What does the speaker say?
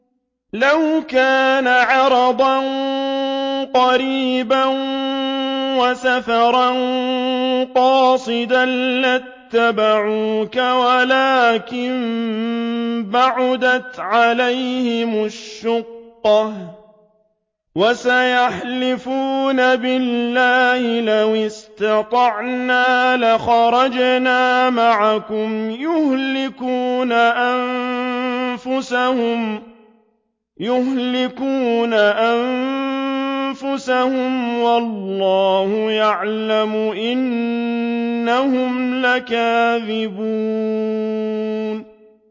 لَوْ كَانَ عَرَضًا قَرِيبًا وَسَفَرًا قَاصِدًا لَّاتَّبَعُوكَ وَلَٰكِن بَعُدَتْ عَلَيْهِمُ الشُّقَّةُ ۚ وَسَيَحْلِفُونَ بِاللَّهِ لَوِ اسْتَطَعْنَا لَخَرَجْنَا مَعَكُمْ يُهْلِكُونَ أَنفُسَهُمْ وَاللَّهُ يَعْلَمُ إِنَّهُمْ لَكَاذِبُونَ